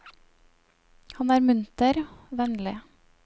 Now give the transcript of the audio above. Han er munter, vennlig.